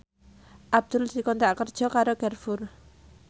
Abdul dikontrak kerja karo Carrefour